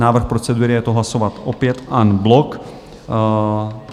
Návrh procedury je to hlasovat opět en bloc.